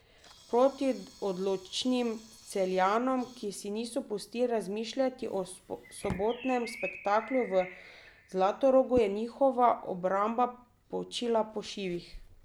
Proti odločnim Celjanom, ki si niso pustili razmišljati o sobotnem spektaklu v Zlatorogu, je njihova obramba počila po šivih.